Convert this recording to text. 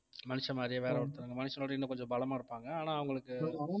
மனுஷன் மாதிரி வேற ஒருத்தவங்க மனுஷனோட இன்னும் கொஞ்சம் பலமா இருப்பாங்க ஆனா அவங்களுக்கு